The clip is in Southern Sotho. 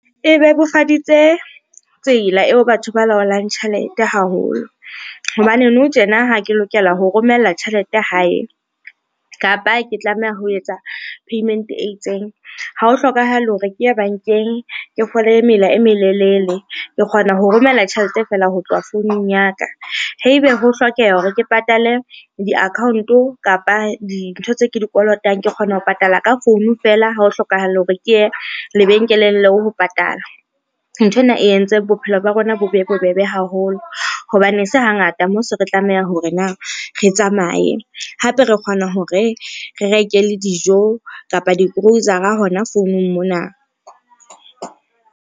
E bebofaditse tsela eo batho ba laolang tjhelete haholo, hobane nou tjena ha ke lokela ho romella tjhelete hae kapa ke tlameha ho etsa payment e itseng, ha o hlokahale hore ke ye bankeng, ke fole mela e melelele ke kgona ho romela tjhelete fela ho tloha founung ya ka. Haebe ho hlokeha hore ke patale di-ccount-o kapa dintho tseo ke di kolotang, ke kgona ho patala ka founu fela, ha ho hlokahale hore ke ye lebenkeleng leo ho patala. Nthwena e entse bophelo ba bona bo be bobebe haholo, hobane e se hangata mo se re tlameha hore na re tsamaye hape re kgona hore re reke le dijo kapa di-grocer-a hona founung mona.